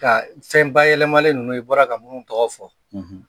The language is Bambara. Ka fɛn bayɛlɛmalen ninnu i bɔra ka mun tɔgɔ fɔ